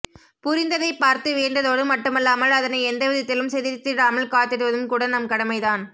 புரிந்ததை பார்த்து வியந்ததோடு மட்டுமல்லாமல் அதனை எந்தவிதத்திலும் சிதைத்திடாமல் காத்திடுவதும் கூட நம் கடமைதான்